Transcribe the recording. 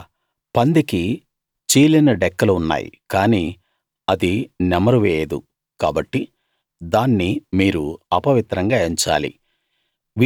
ఇక పందికి చీలిన డెక్కలు ఉన్నాయి కానీ అది నెమరు వేయదు కాబట్టి దాన్ని మీరు అపవిత్రంగా ఎంచాలి